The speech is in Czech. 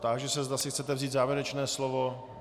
Táži se, zda si chcete vzít závěrečné slovo.